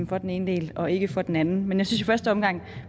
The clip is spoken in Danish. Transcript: for den ene del og ikke for den anden men jeg synes i første omgang